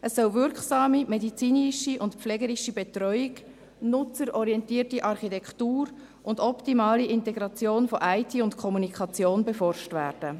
Es sollen wirksame medizinische und pflegerische Betreuung, nutzerorientierte Architektur und optimale Integration von IT und Kommunikation beforscht werden.